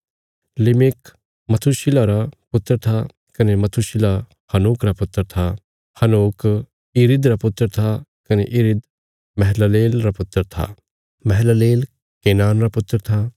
लिमिक मथूशिलह रा पुत्र था कने मथूशिलह हनोक रा पुत्र था हनोक यिरिद रा पुत्र था कने यिरिद महललेल रा पुत्र था महललेल केनान रा पुत्र था